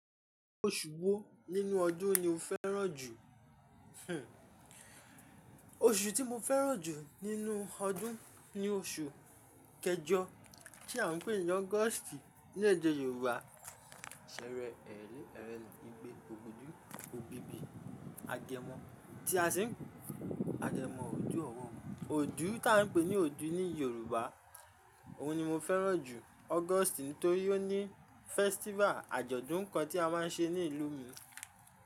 Oṣù wo nínú ọdún ni o fẹ́ràn jù? Oṣù tí mo fẹ́ràn jù nínú ọdún ni oṣù kejọ tí a ń pè ní Augusti ní èdè Yorùbá. Ebí bí agẹmọ tí a sì ń pe agẹmọ òjú ọ̀ro Òdú tí a ń pè ní òdú ní Yorùbá, òun ni mo fẹ́ràn jù August nítorí ó ní festival àjọ̀dún kan tí a máa ń ṣe ní ìlú mi.